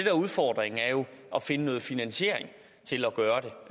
er udfordringen er jo at finde finansiering til at gøre